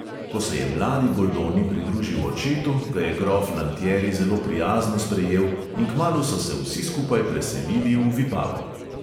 Ko se je mladi goldoni pridružil očetu, ga je grof lantieri zelo prijazno sprejel in kmalu so se vsi skupaj preselili v vipavo.